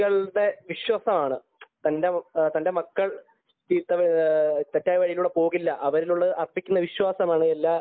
കുട്ടികളിലുള്ള വിശ്വാസമാണ് തന്റെ മക്കൾ തെറ്റായ വഴികളിലൂടെ പോവില്ല അവരിൽ അർപ്പിക്കുന്ന വിശ്വാസമാണ് എല്ലാ